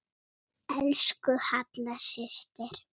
Elsku Halla systir.